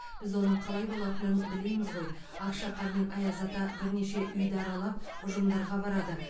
біз оның қалай болатынын білеміз ғой ақшақар мен аяз ата бірнеше үйді аралап ұжымдарға барады